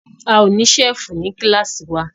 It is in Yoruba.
A ó ní ṣẹ́fù ní kílàsì wa.